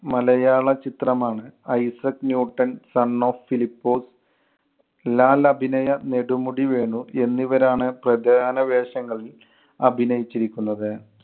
മലയാള ചിത്രമാണ് Isaac Newton son of Philipose. Lal അഭിനയ നെടുമുടി വേണു എന്നിവരാണ് പ്രധാന വേഷങ്ങളില്‍ അഭിനയിച്ചിരിക്കുന്നത്.